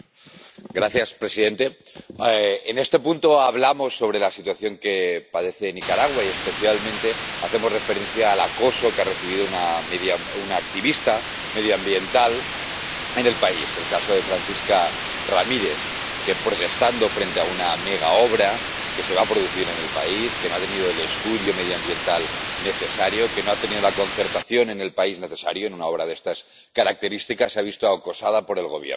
Señor presidente, en este punto hablamos sobre la situación que padece Nicaragua y, especialmente, hacemos referencia al acoso que ha recibido una activista medioambiental en el país el caso de Francisca Ramírez, que, protestando frente a una megaobra que se va a producir en el país —que no ha tenido el estudio medioambiental necesario, que no ha tenido la concertación en el país necesaria en una obra de estas características—, se ha visto acosada por el Gobierno.